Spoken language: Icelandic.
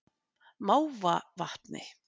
Mávavatni